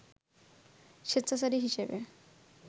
স্বেচ্ছাচারী হিসেবে